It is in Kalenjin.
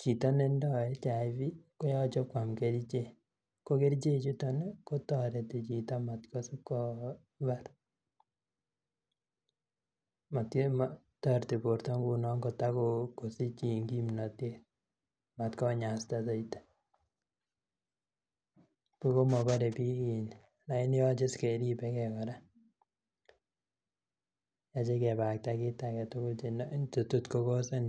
chito ne tindo ,[HIV] ko yoche kwam kerichek ko kerichechuton ko toreti chito mat kosib kobar ,toreti borto ng'unon kotakosich kimnotet matkonyasta soiti nibuch komaboreniik lakini yoche keribekee kora yoche kebakakta tukuk alak tukul Che tot ko causen.